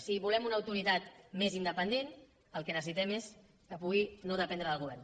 si volem una autoritat més independent el que necessitem és que pugui no dependre del govern